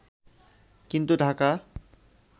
কিন্তু ঢাকা